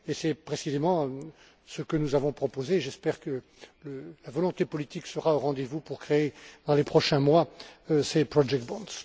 C'est précisément ce que nous avons proposé et j'espère que la volonté politique sera au rendez vous pour créer dans les prochains mois ces project bonds